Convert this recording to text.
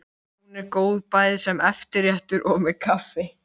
Hún er góð bæði sem eftirréttur og með kaffi.